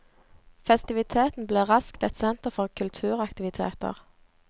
Festiviteten ble raskt et senter for kulturaktiviteter.